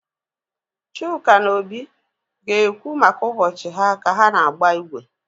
Chuka na Obi ga-ekwu maka ụbọchị ha ka ha na-agba igwe.